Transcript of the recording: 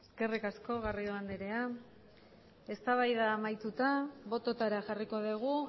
eskerrik asko garrido andrea eztabaida amaituta bototara jarriko dugu